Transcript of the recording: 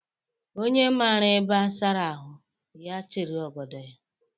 Onye mara ebe a sara ahụ, ya chịrị ogodo ya